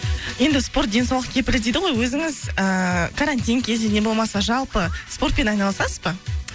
енді спорт денсаулық кепілі дейді ғой өзіңіз ііі карантин кезінде болмаса жалпы спортпен айналысасыз ба